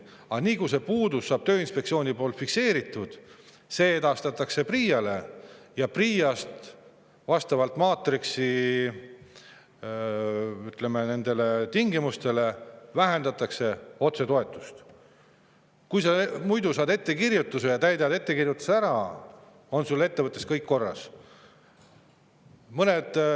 Aga nii kui see puudus saab Tööinspektsioonil fikseeritud, edastatakse see PRIA‑le ja PRIA-s vastavalt maatriksi, ütleme, tingimustele vähendatakse otsetoetust, kuigi, kui sa muidu saad ettekirjutuse ja täidad selle ära, siis on sul ettevõttes kõik korras.